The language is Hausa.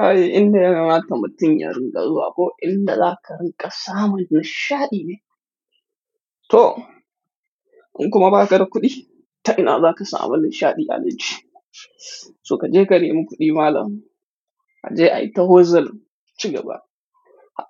Ai inda yana mata mutum yaron garzuwa ko inda za ka rinƙa samu nishaɗi ne. To, in kuma ba ka da kuɗi, ta ina za ka samu nishaɗi Alhaji? To ka je ka nemi kuɗi malam, ka je ai ta hozal cigaba,